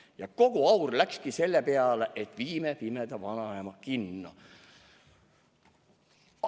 Ja kogu aur läkski selle peale, et viime pimeda vanaema kinno.